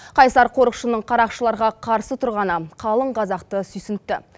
қайсар қорықшының қарақшыларға қарсы тұрғаны қалың қазақты сүйсінтті